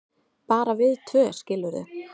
bara við tvö, skilurðu.